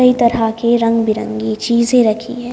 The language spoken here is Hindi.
कई तरह की रंग बिरंगी चीजें रखी हैं।